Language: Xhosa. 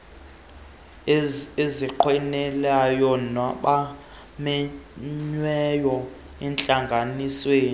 ezinqwenelwayo mabamenyelwe ezintlanganisweni